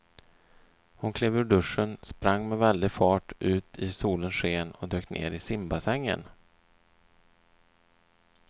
Hon klev ur duschen, sprang med väldig fart ut i solens sken och dök ner i simbassängen.